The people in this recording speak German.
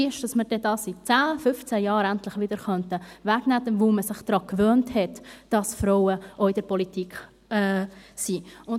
Denn das Ziel ist es, dass wir dies in zehn bis fünfzehn Jahren wieder wegnehmen könnten, weil man sich daran gewöhnt hat, dass Frauen auch in der Politik vertreten sind.